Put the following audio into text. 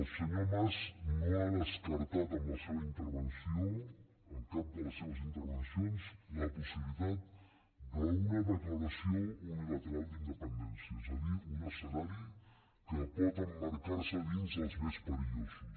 el senyor mas no ha descartat amb la seva intervenció amb cap de les seves intervencions la possibilitat d’una declaració unilateral d’independència és a dir un escenari que pot emmarcar se dins dels més perillosos